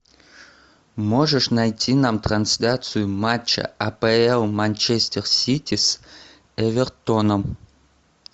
можешь найти нам трансляцию матча апл манчестер сити с эвертоном